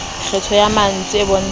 kgetho ya mantswe e bontshang